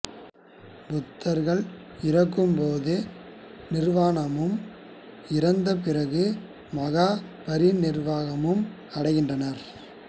புத்தர்கள் இறக்கும் போது நிர்வாணமும் இறந்த பிறகு மகாபரிநிர்வாணமும் அடைகின்றனர்